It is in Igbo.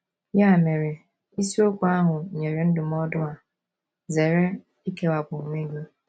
Ya mere, isiokwu ahụ nyere ndụmọdụ a: ‘ Zere ikewapụ onwe gị. ’